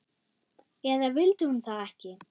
Eða vildi hún það ekki?